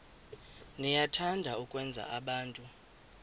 niyathanda ukwenza abantu